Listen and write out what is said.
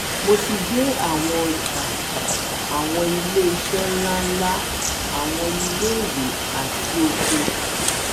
mo ti dé àwọn ọjà àwọn iléeṣẹ ńlá ńlá àwọn iléèwé àti oko